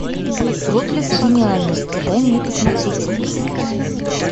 проблеск гениальности дай мне посмотреть